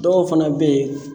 Dɔw fana bɛ yen.